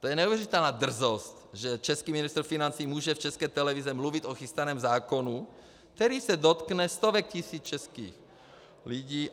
To je neuvěřitelná drzost, že český ministr financí může v České televizi mluvit o chystaném zákonu, který se dotkne stovek tisíc českých lidí.